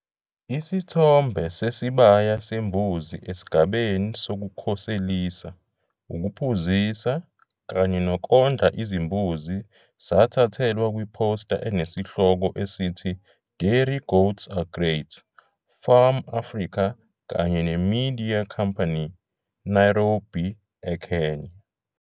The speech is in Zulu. Isithombe sesibaya sembuzi esigabeni sokukhoselisa, ukuphuzisa kanye nokondla izimbuzi sathathelwa kwiphosta enesihloko esithi Dairy goats are great!, FARM-Africa kanye neMediae Company, Nairobi eKenya.